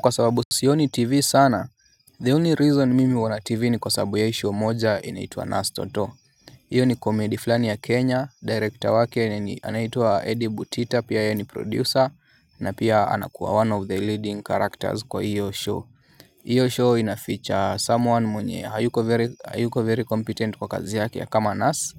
Kwa sababu sioni tv sana The only reason mimi huona tv ni kwa sababu ya show moja inaitwa nurse toto hiyo ni komedi fulani ya kenya director wake eni anaitwa edi butita pia yeye ni producer na pia anakuwa one of the leading characters kwa hiyo show. Hiyo show inafeature someone mwenye hayuko very competent kwa kazi yake ya kama nurse.